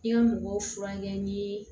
I ka mɔgɔw furakɛ ni